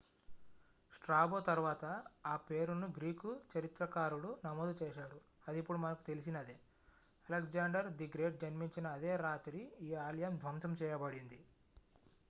Strabo తర్వాత ఆ పేరును గ్రీకు చరిత్రకారుడు నమోదు చేశాడు అది ఇప్పుడు మనకు తెలిసినదే అలెగ్జాండర్ ది గ్రేట్ జన్మించిన అదే రాత్రి ఈ ఆలయం ధ్వంసం చేయబడింది